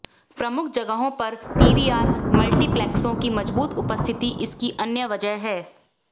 प्रमुख जगहों पर पीवीआर मल्टीप्लेक्सों की मजबूत उपस्थिति इसकी अन्य वजह है